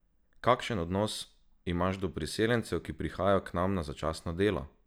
Kakšen odnos imaš do priseljencev, ki prihajajo k nam na začasno delo?